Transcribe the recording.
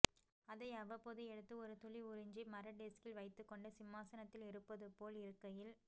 அதை அவ்வப்போது எடுத்து ஒரு துளி உறிஞ்சி மர டெஸ்கில் வைத்துக்கொண்டு சிம்மாசனத்தில் இருப்பதுபோல் இருக்கையில்